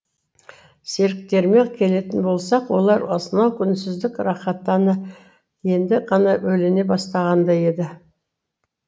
серіктеріме келетін болсақ олар осынау үнсіздік рақатана енді ғана бөлене бастағандай еді